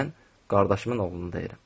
Mən qardaşımın oğlunu deyirəm.